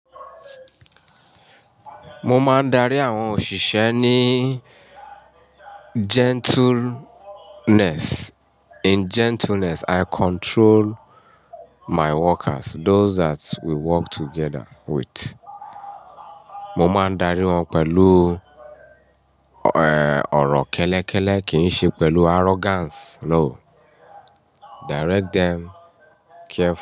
Mo máa ń darí àwọn òṣìṣẹ́ ní gentleness. In gentleness, I control my workers, those that we work together with. Mo máa ń darí wọn pẹ̀lú, eh, ọ̀rọ̀ kẹ́lẹ́kẹ́lẹ́, kì í ṣe pẹ̀lú arrogance no. Direct them carefully.